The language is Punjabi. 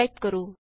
ਟਾਈਪ ਕਰੋ